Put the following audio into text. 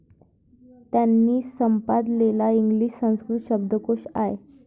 त्यांनी संपादलेला इंग्लिश संस्कृत शब्दकोश आय.